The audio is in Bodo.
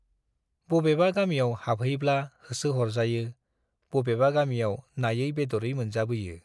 बबेबा गामियाव हाबहैब्ला होसो हरजायो, बबेबा गामियाव नायै-बेद'रै मोनजाबोयो ।